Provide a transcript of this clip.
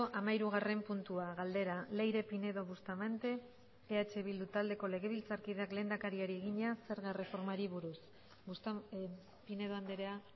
hamairugarren puntua galdera leire pinedo bustamante eh bildu taldeko legebiltzarkideak lehendakariari egina zerga erreformari buruz pinedo andrea